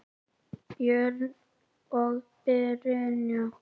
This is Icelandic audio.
Björn og Brynja.